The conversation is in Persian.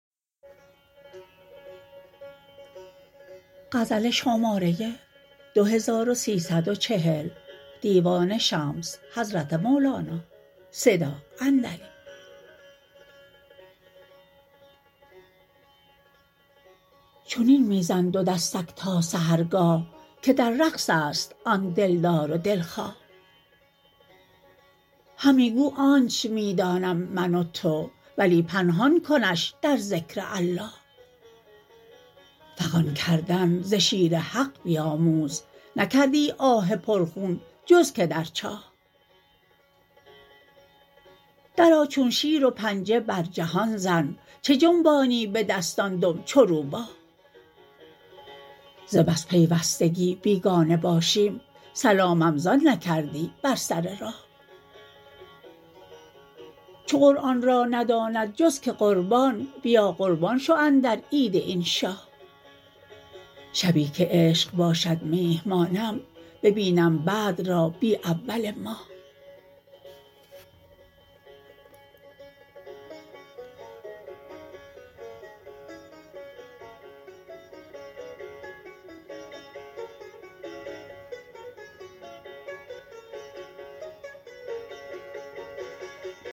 چنین می زن دو دستک تا سحرگاه که در رقص است آن دلدار و دلخواه همی گو آنچ می دانم من و تو ولی پنهان کنش در ذکر الله فغان کردن ز شیر حق بیاموز نکردی آه پرخون جز که در چاه درآ چون شیر و پنجه بر جهان زن چه جنبانی به دستان دم چو روباه ز بس پیوستگی بیگانه باشیم سلامم زان نکردی بر سر راه چو قرآن را نداند جز که قربان بیا قربان شو اندر عید این شاه شبی که عشق باشد میهمانم ببینم بدر را بی اول ماه